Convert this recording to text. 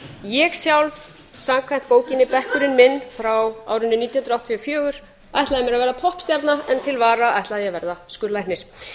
ég sjálf samkvæmt bókinni bekkurinn frá árinu nítján hundruð áttatíu og fjögur ætlaði að verða poppstjarna en til vara ætlaði ég að verða skurðlæknir